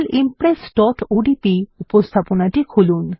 sample impressওডিপি উপস্থাপনাটি খুলুন